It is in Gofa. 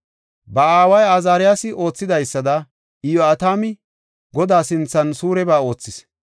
Ba aaway Azaariyasi oothidaysada, Iyo7atami Godaa sinthan suureba oothis.